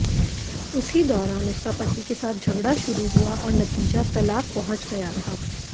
उसी दौरान उसका पति के साथ झगड़ा शुरू हुआ और नतीजा तलाक़ पहुंच गया था